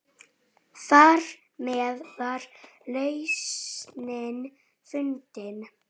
Trú Gríms er hjá honum.